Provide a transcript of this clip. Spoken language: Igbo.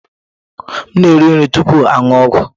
M na-eri nri tupu m aṅụ ọgwụ.